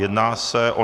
Jedná se o